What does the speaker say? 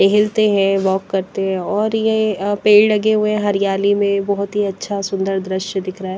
टहलते हैं वॉक करते हैं और ये पेड़ लगे हुए हैं हरियाली में बहुत ही अच्छा सुंदर दृश्य दिख रहा है।